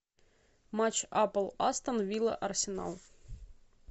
матч апл астон вилла арсенал